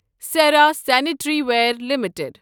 Sierra sanitary ware limited